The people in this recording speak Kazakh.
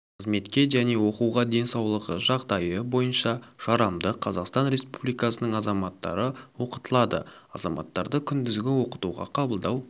қызметке және оқуға денсаулығы жағдайы бойынша жарамды қазақстан республикасының азаматтары оқытылады азаматтарды күндізгі оқытуға қабылдау